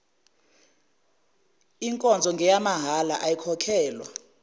nkonzo ngeyamahhala ayikhokhelwa